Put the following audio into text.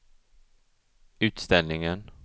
utställningen